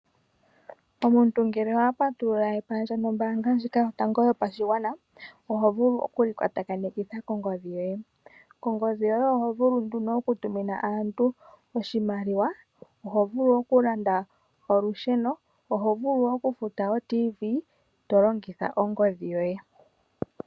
Omuntu ngele owa patulula epandja nombaanga ndjika yotango yopashigwana oho vulu okuli kwatakanitha kongodhi yoye. Kongodhi yoye oho vulu nduno okutumina aantu oshimaliwa, oho vulu okulanda olusheno, oho vulu okufuta otiivi to longitha ongodhi yoye.